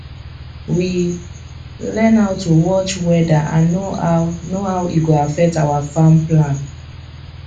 we learn how to watch weather and know how know how e go affect our farm plan